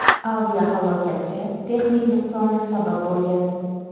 Aviahalokatga texnik nuqsonlar sabab bo‘lgan.